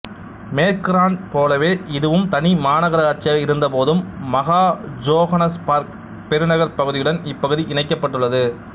மேற்கு ராண்ட் போலவே இதுவும் தனி மாநகராட்சியாக இருந்தபோதும் மகா ஜோகானஸ்பேர்க் பெருநகர்ப் பகுதியுடன் இப்பகுதி இணைக்கப்பட்டுள்ளது